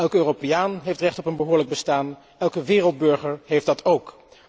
Elke Europeaan heeft recht op een behoorlijk bestaan, elke wereldburger heeft dat ook.